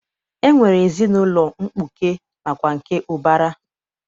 E nwere ezinaụlọ mkpuke nakwa nke ụbara.